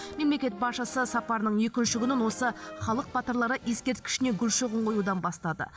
мемлекет басшысы сапарының екінші күнін осы халық батырлары ескерткішіне гүл шоғын қоюдан бастады